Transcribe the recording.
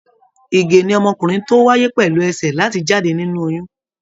Ìgè ni ọmọkùnrin ti wáyé pẹlú ẹsẹ láti jáde nínú oyún.